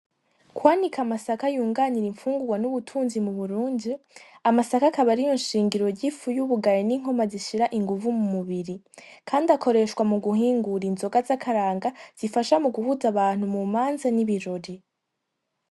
Kwanika amasaka yunganira imfungugwa ni ubutunzi mu Burundi .Amasaka akaba ariyo nshingiro ry'ifu yubugari ni inkoma zishira inguvu mu mubiri kandi akoreshwa mu guhingura inzoga zakaranga zifasha mu guhuza abantu mu manza n'ibirori.